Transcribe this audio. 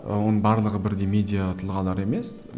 оның барлығы бірдей медиа тұлғалар емес